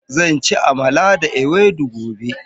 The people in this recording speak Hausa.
Zan ci amala da ewedu gobe.